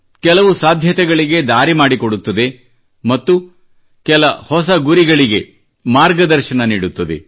ಕೆಲವು ಸಾಧ್ಯತೆಗಳಿಗೆ ದಾರಿ ಮಾಡಿಕೊಡುತ್ತದೆ ಮತ್ತು ಕೆಲ ಹೊಸ ಗುರಿಗಳಿಗೆ ಮಾರ್ಗದರ್ಶನ ನೀಡುತ್ತದೆ